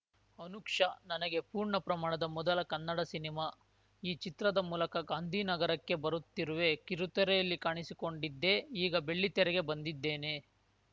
ಅನುಕ್ಷ ನನಗೆ ಪೂರ್ಣ ಪ್ರಮಾಣದ ಮೊದಲ ಕನ್ನಡ ಸಿನಿಮಾ ಈ ಚಿತ್ರದ ಮೂಲಕ ಗಾಂಧಿನಗರಕ್ಕೆ ಬರುತ್ತಿರುವೆ ಕಿರುತೆರೆಯಲ್ಲಿ ಕಾಣಿಸಿಕೊಂಡಿದ್ದೆ ಈಗ ಬೆಳ್ಳಿತೆರೆಗೆ ಬಂದಿದ್ದೇನೆ